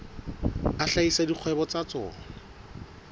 a hlahisa dikgwebo tsa tsona